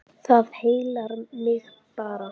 Það heillar mig bara.